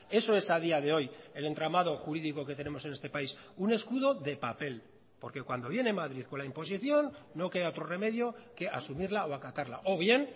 eso es a día de hoy el entramado jurídico que tenemos en este país un escudo de papel porque cuando viene madrid con la imposición no queda otro remedio que asumirla o acatarla o bien